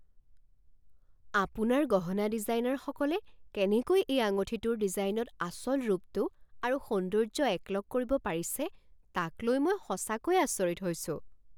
আপোনাৰ গহনা ডিজাইনাৰসকলে কেনেকৈ এই আঙুঠিৰ ডিজাইনত আচল ৰূপটো আৰু সৌন্দৰ্য একলগ কৰিব পাৰিছে তাক লৈ মই সঁচাকৈয়ে আচৰিত হৈছো।